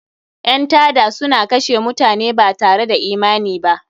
Ƴan tada suna kashe mutane batare da imani ba..